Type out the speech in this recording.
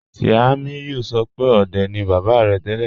Tiamiyu sọ̀ pẹ̀ ọ̀dẹ̀ ni baba rẹ̀ tẹlẹ́.